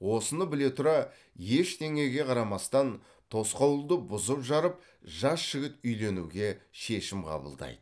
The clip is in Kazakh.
осыны біле тұра ештеңеге қарамастан тосқауылды бұзып жарып жас жігіт үйленуге шешім қабылдайды